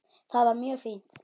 Það var mjög fínt.